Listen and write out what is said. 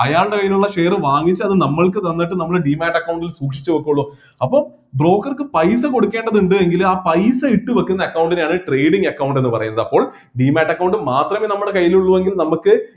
അയാളുടെ കൈയിലുള്ള share വാങ്ങിച്ചു അത് നമ്മൾക്ക് തന്നിട്ട് നമ്മൾ demate account ൽ സൂക്ഷിച്ചു വെക്കുള്ളു അപ്പൊ broker ക്ക് പൈസ കൊടുക്കേണ്ടതിണ്ട് എങ്കില് ആ പൈസ ഇട്ടുവെക്കുന്ന account നെയാണ് trading account എന്ന് പറയുന്നത് അപ്പോൾ demate account മാത്രമെ നമ്മുടെ കൈയിൽ ഉള്ളു എങ്കില് നമ്മക്ക്